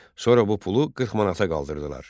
Sonra bu pulu 40 manata qaldırdılar.